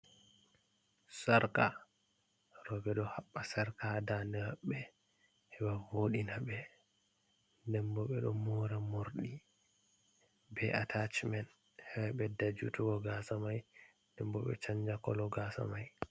Sarka rowbbe do habba sarka ha dande mabbe heba vodina be den bo be do mora mordi be atach men he ba bedda jutugo gasa mai denbo be chanja kolo gasa mai.